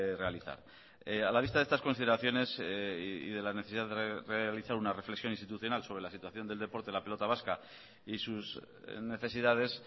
realizar a la vista de estas consideraciones y de la necesidad de realizar una reflexión institucional sobre la situación del deporte de la pelota vasca y sus necesidades